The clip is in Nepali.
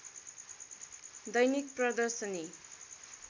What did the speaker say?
दैनिक प्रदर्शनी